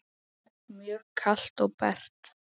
Mjög kalt og bert.